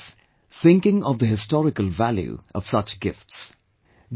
I say this, thinking of the historical value of such gifts